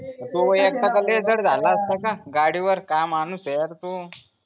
अ तू व एकटा का लय जड जाला आसता का गाडी वर काय माणुस यार तू